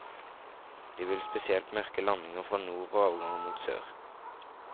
De vil spesielt merke landinger fra nord og avganger mot sør.